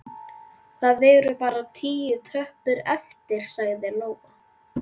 Það eru bara tíu tröppur eftir, sagði Lóa.